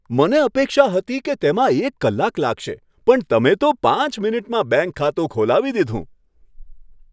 મને અપેક્ષા હતી કે તેમાં એક કલાક લાગશે પણ તમે તો પાંચ મિનિટમાં બેંક ખાતું ખોલાવી દીધું.